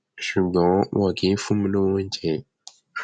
ṣùgbọn wọn kì í fún mi lọwọ oúnjẹ